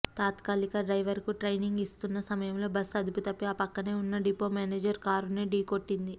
తాత్కాలిక డ్రైవర్ కు ట్రైనింగ్ ఇస్తున్నాసమయంలో బస్సు అదుపు తప్పి ఆ పక్కనే ఉన్నా డిపో మేనేజర్ కారునే ఢీకొట్టింది